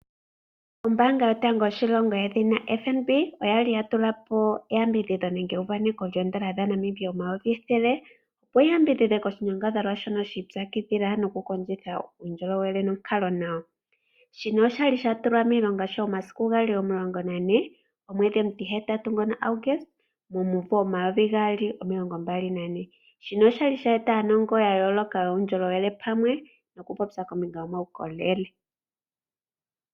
Ombaanga yotango yoshilongo yedhina FnB oyali ya tula po eyambidhidho nenge euvaneko lyoondola dha Namibia omayovi ethele opo yi yambidhidhe ko shinyangadhalwa shono shiipyakidhila noku kondjitha uundjolowele nonkalo nawa. Shino oshali sha tulwa miilongo sho omasiku gali omulongo nane, omwedhi omutihetatu ngono Auguste momumvo omayovi gaali omilongo mbali nane. Shino oshali sha eta aanongo ya yooloka yuundjolowele pamwe noku popya kombinga yo maukolele.